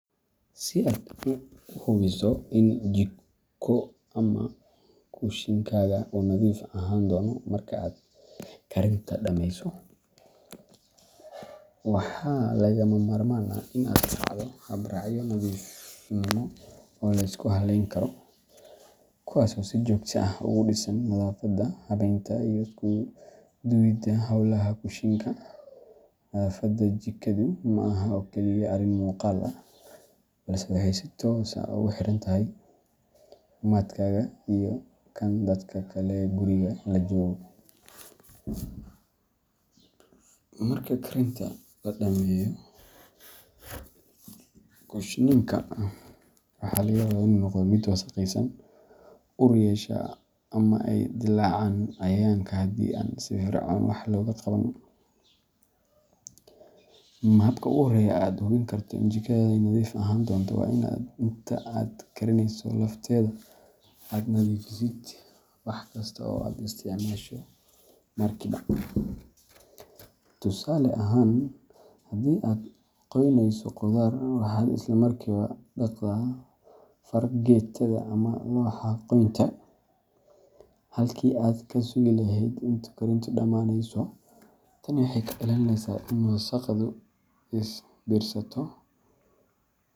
Si u hubiso in jirku moshinkaaga u nadhiif ahanaya, waxaa laga mamarman ah oo lisku haleyn karo si jogto ah ogu disan duwida howlaha moshinka nadhafaadu jikaada arin muqal ah si tos ah ogu xirantahay cafimaadkaga, ama ee dilacan, marka aa karineyso ama aa nadhifineyso jokaada, halki aa kasugeso karinta, tani waxee cawineysaa in wasaqdu.